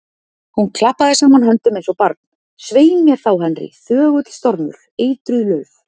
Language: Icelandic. Hún klappaði saman höndum eins og barn: Svei mér þá, Henry, þögull stormur, eitruð lauf.